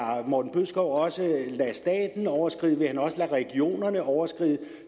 morten bødskov også lade staten overskride vil han også lade regionerne overskride